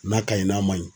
N'a kaɲi n'a ma ɲi